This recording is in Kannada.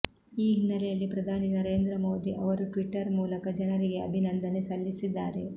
ಈ ಹಿನ್ನೆಲೆಯಲ್ಲಿ ಪ್ರಧಾನಿ ನರೇಂದ್ರ ಮೋದಿ ಅವರು ಟ್ವಿಟರ್ ಮೂಲಕ ಜನರಿಗೆ ಅಭಿನಂದನೆ ಸಲ್ಲಿಸಿದ್ದಾರೆ